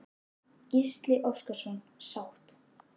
Gísli Óskarsson: Sátt?